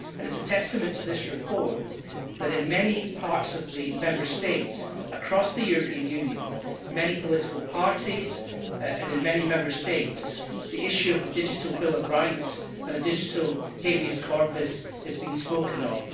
It is a testament to this report that in many parts of the Member States across the European Union, in many political parties and in many Member States, the issue of the digital bill of rights and a digital habeus corpus is being spoken of.